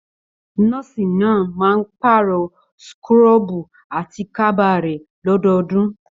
Nọ́ọ̀sì náà máa n paarọ súkúrọbuù àti kaba rẹ lọdọọdun.